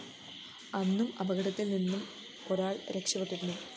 അന്നും അപകടത്തില്‍ നിന്നും ഒരാള്‍ രക്ഷപ്പെട്ടിരുന്നു